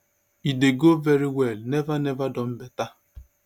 e dey go very well never never done beta